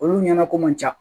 Olu ɲɛnako man ca